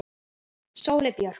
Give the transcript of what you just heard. Sóley Björk